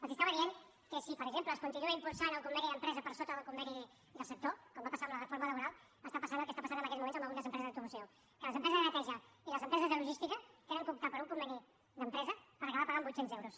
els estava dient que si per exemple es continua impulsant el conveni d’empresa per sota del conveni del sector com va passar amb la reforma laboral està passant el que està passant en aquests moments en algunes empreses d’automoció que les empreses de neteja i les empreses de logística han d’optar per un conveni d’empresa per acabar pagant vuit cents euros